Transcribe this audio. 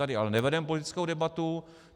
Tady ale nevedeme politickou debatu.